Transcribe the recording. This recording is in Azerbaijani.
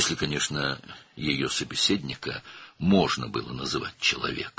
Əlbəttə, əgər onun həmsöhbətini insan adlandırmaq olsaydı.